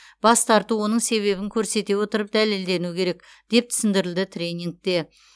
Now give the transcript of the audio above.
бас тарту оның себебін көрсете отырып дәлелденуі керек деп түсіндірілді тренингте